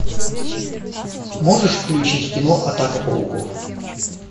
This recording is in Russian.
можешь включить кино атака пауков